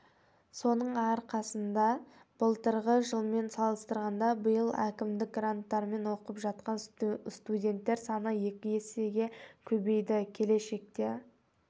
соның арқасында былтырғы жылмен салыстырғанда биыл әкімдік гранттарымен оқып жатан студенттер саны екі есеге көбейді келешекте